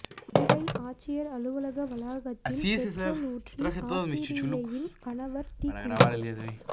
மதுரை ஆட்சியர் அலுவலக வளாகத்தில் பெட்ரோல் ஊற்றி ஆசிரியையின் கணவர் தீக்குளிப்பு